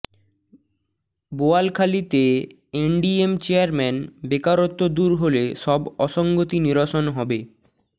বোয়ালখালীতে NDM chairman বেকারত্ব দূর হলে সব অসঙ্গতি নিরসন হবে